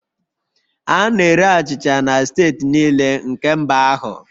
A na-ere achịcha na steeti niile nke mba ahụ